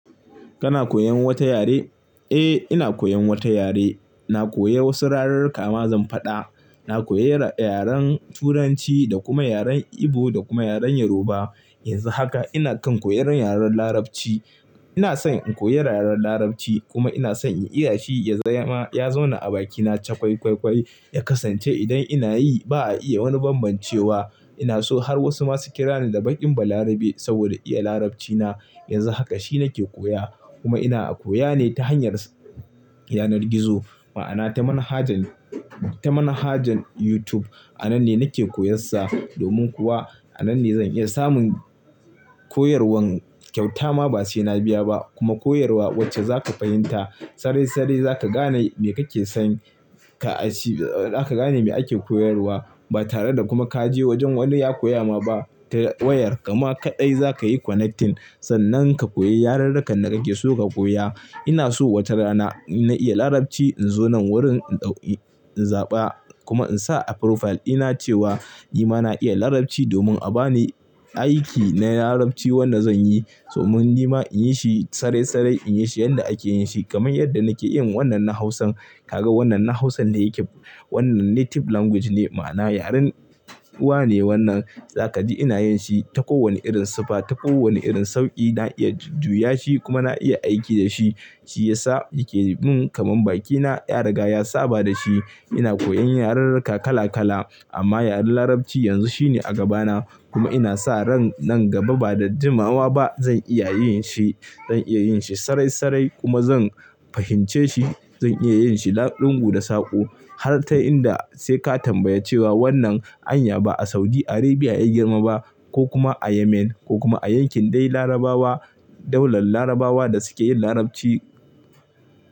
Kana koyan wata yare? Eh, ina koyan wata yare. Na koya wasu rarirka ma zan faɗa. Na koyi yaren Turanci da kuma yaren Igbo da kuma yaren Yoruba. Yanzu haka ina kan koyan yaren Larabci. Ina son in koyi yaren Larabci kuma ina son in iya shi yazama ya zauna a bakina ta chakwaikwaikwai, ya kasance idan inayi ba a iya wani bambancewa. Ina so har wasu masu kira ni da baƙin Balarabe saboda iya Larabcina. Yanzu haka shi nake koya kuma ina a koya ne ta hanyar yanar gizo, ma'ana ta manhajan, ta manhajan YouTube. A nan ne nake koyan sa. Domin kuwa a nan ne zan iya samun koyarwan kyauta ma ba sai na biya ba kuma koyarwa wacce za ka fahimta. Sarai-sarai za ka gane me kake son ka a ci, za ka gane me ake koyarwa ba tare da kuma ka je wajen wani ya koya ma ba ta wayar. Kama kaɗai za ka yi connecting sannan ka koyi yararrakan da kake so ka koya. Ina so wata rana ina iya Larabci in zo nan wurin in ɗauki, in zaɓa kuma in sa a profile ina cewa ni ma na iya Larabci domin a ba ni aiki na Larabci wanda zan yi. Domin ni ma in yi shi sarai-sarai, in yi shi yanda ake yin shi kamar yadda nake yin wannan na Hausan. Kaga wannan na Hausan da yake, wannan native language ne ma'ana yaren uwa ne wannan. Za ka ji ina yin shi ta kowane irin siffa, ta kowane irin sauƙi. Na iya jujjuya shi kuma na iya aiki da shi, shi ya sa yake min kamar bakina ya riga ya saba da shi. Ina koyan yarurrukka kala kala amma yaren Larabci yanzu shi ne a gabana kuma ina sa ran nan gaba ba da jimawa ba zan iya yin shi. Zan iya yin shi sarai-sarai kuma zan fahimce shi. Zan iya yin shi laƙungu da saƙo har ta inda sai ka tambaya cewa wannan anya ba a Saudi Arabia ya girma ba ko kuma a Yemen ko kuma a yankin dai Larabawa, daular Larabawa da suke yin Larabci.